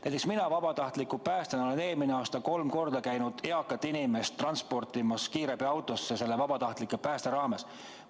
Näiteks mina vabatahtliku päästjana käisin eelmisel aastal kolm korda eakat inimest kiirabiautoga transportimas, see oli vabatahtliku päästetöö raames.